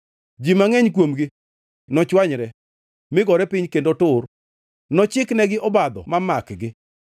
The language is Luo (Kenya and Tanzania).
Ji mangʼeny kuomgi nochwanyre mi gore piny kendo tur, nochiknegi obadho ma makgi.”